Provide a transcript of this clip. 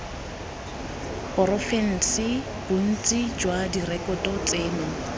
porofense bontsi jwa direkoto tseno